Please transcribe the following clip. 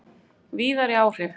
Víðari áhrif